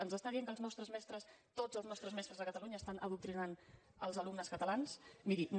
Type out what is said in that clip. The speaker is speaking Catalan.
ens està dient que els nostres mestres tots els nostres mestres de catalunya estan adoctrinant els alumnes catalans miri no